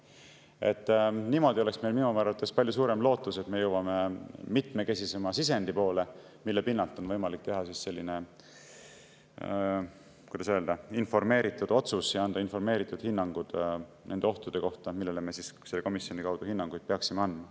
oleks meil minu arvates palju suurem lootus, et me jõuame mitmekesisema sisendi poole, mille pinnalt on võimalik teha selline, kuidas öelda, informeeritud otsus ja anda informeeritud hinnang nende ohtude kohta, millele me selles komisjonis hinnanguid peaksime andma.